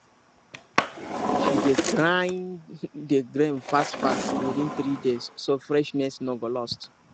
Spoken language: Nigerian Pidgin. she dey grind the grain fastfast within three days so freshness no go lost